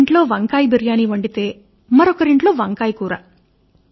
ఒకరింట్లో వంకాయ బిరియాని వండితే వంకాయ కూర